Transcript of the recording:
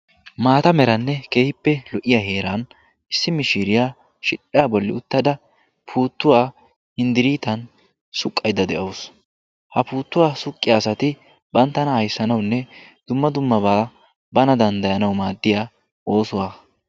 Maata meranne kehippe lo"iya heeran issi mishiiriyaa shidhdhaa bolli uttada puttuwaa hinddiriitan suqqaydda de'awusu. ha puuttuwaa suqqiya asati banttana ayssanaunne dumma dummabaa bana danddayanau maaddiya oosuwaa.